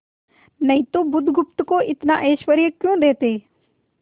नहीं तो बुधगुप्त को इतना ऐश्वर्य क्यों देते